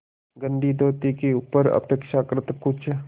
गंदी धोती के ऊपर अपेक्षाकृत कुछ